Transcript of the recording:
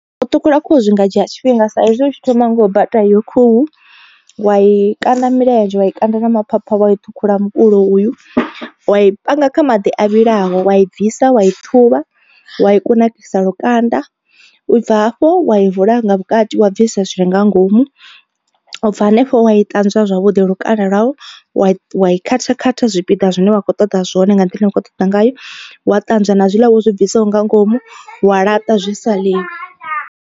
U ṱhukhula khuhu zwi nga dzhia tshifhinga sa izwi hu tshi thoma nga u bata iyo khuhu wa i kanda milenzhe wa i kanda nama phapha wa i ṱhukhula mukulo uyu. Wa i panga kha maḓi o vhilaho wa i bvisa wa i ṱhuvha wa i kunakisa lukanda ubva hafho wa i vula nga vhukati wa bvisa zwi re nga ngomu. U bva hanefho wa i ṱanzwa zwavhuḓi lukanda lwau wa wa i khatha khatha zwipiḓa zwine wa khou ṱoḓa zwone nga nḓila ine ukho ṱoḓa ngayo. Wa ṱanzwa na zwiḽa wo zwi bviswaho nga ngomu wa laṱa zwi sa ḽiwi.